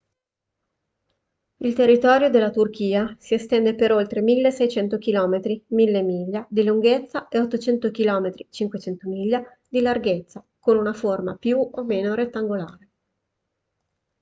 il territorio della turchia si estende per oltre 1.600 km 1.000 miglia di lunghezza e 800 km 500 miglia di larghezza con una forma più o meno rettangolare